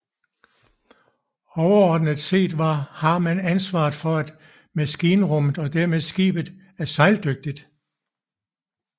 Overordnet set har man ansvaret for at maskinrummet og dermed skibet er sejldygtigt